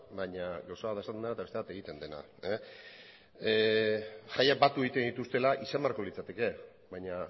baina gauza bat da esaten dena eta beste bat egiten dena jaiak batu egiten dituztela izan beharko litzateke baina